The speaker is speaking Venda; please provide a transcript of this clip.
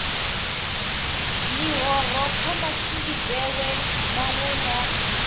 ḽihoro kha matshimbidzelwe maṅwe na